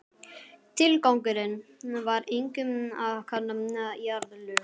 Tilgangurinn var einkum að kanna jarðlög.